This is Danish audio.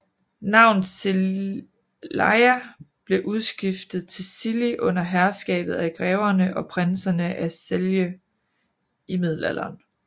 Navnet Celeia blev udskiftet til Cilli under herskabet af Greverne og Prinserne af Celje i Middelalderen